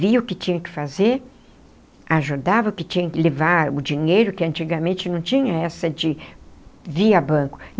Vi o que tinha que fazer, ajudava o que tinha que levar, o dinheiro, que antigamente não tinha essa de via banco.